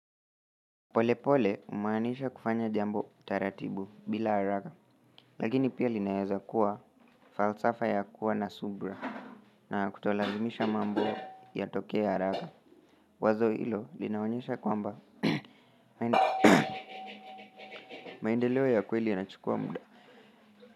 Polepole humaanisha kufanya jambo taratibu bila haraka lakini pia linaeza kuwa falsafa ya kuwa na subra na kutolazimisha mambo yatokee haraka wazo hilo linaonyesha kwamba maendeleo ya kweli yanachukua muda.